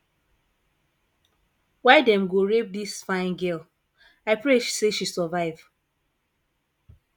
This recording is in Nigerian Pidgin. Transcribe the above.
why dem go rape dis fine girl i pray say she survive